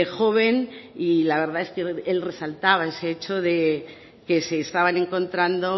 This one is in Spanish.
joven y la verdad es que él resaltaba ese hecho de que se estaban encontrando